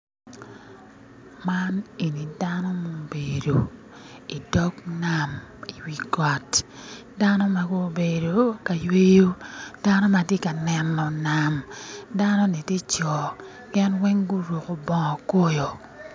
Man en dano mubedo i dog nam i wi got dano ma gubedo ka yweyo dano ma tye ka neno nam dano-ni tye co gin weng guroko bongo koyo